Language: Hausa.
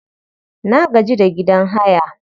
Na gaji da gidan haya